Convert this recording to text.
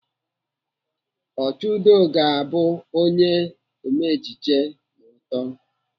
Ochudo ga-abụ Ome ejije ma ọ too.